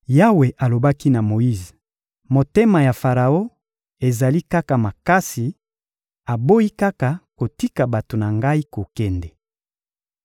Yawe alobaki na Moyize: «Motema ya Faraon ezali kaka makasi, aboyi kaka kotika bato na Ngai kokende.